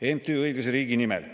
MTÜ‑ga Õiglase Riigi Nimel.